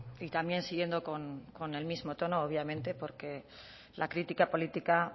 y también siguiendo con el mismo tono obviamente porque la crítica política